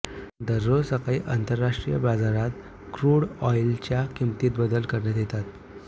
दररोज सकाळी आंतरराष्ट्रीय बाजारात क्रूड ऑइलच्या किंमतीत बदल करण्यात येतात